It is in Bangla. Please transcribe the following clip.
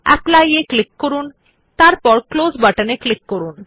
অ্যাপলি এর উপর ক্লিক করুন এবং তারপর ক্লোজ বাটনে ক্লিক করুন